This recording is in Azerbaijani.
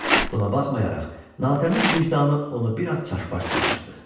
Buna baxmayaraq, natəmiz vicdanı onu bir az çaşbaş salmışdı.